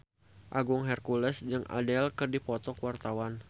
Agung Hercules jeung Adele keur dipoto ku wartawan